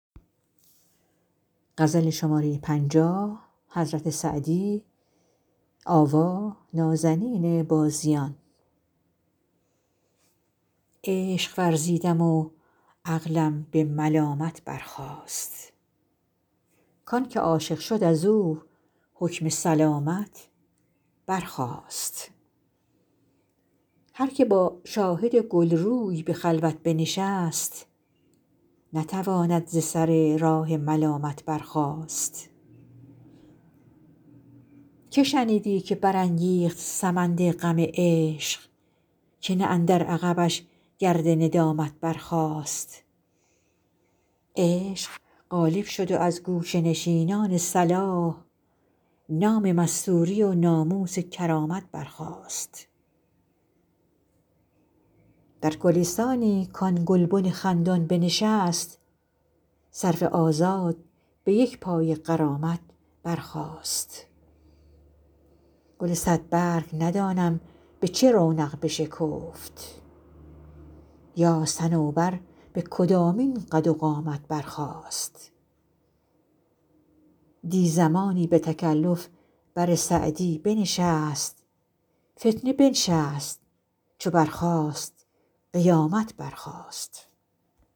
عشق ورزیدم و عقلم به ملامت برخاست کان که عاشق شد از او حکم سلامت برخاست هر که با شاهد گل روی به خلوت بنشست نتواند ز سر راه ملامت برخاست که شنیدی که برانگیخت سمند غم عشق که نه اندر عقبش گرد ندامت برخاست عشق غالب شد و از گوشه نشینان صلاح نام مستوری و ناموس کرامت برخاست در گلستانی کآن گلبن خندان بنشست سرو آزاد به یک پای غرامت برخاست گل صدبرگ ندانم به چه رونق بشکفت یا صنوبر به کدامین قد و قامت برخاست دی زمانی به تکلف بر سعدی بنشست فتنه بنشست چو برخاست قیامت برخاست